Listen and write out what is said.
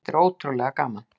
Þetta er ótrúlega gaman.